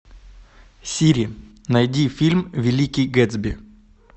сири найди фильм великий гэтсби